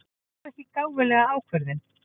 Ég tók ekki gáfulega ákvörðun.